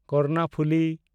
Karnaphuli